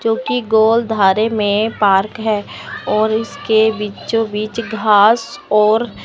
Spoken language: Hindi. जोकि गोल धारे में पार्क है और इसके बीचो बीच घास और--